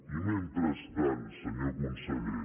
i mentrestant senyor conseller